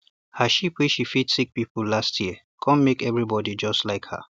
her sheep wey she feed sick people last year come make everybody just like her